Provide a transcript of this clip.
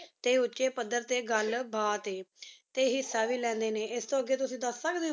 T ਉਚੇ ਪਦਾਰ ਟੀ ਗਲ ਬਾਤ ਟੀ ਹਿਸਾ ਵੇ ਲੇੰਡੇ ਨੀ ਈਦੀ ਤੂ ਅਗੀ ਤੁਸੀਂ ਦਸ ਸਕਦੇ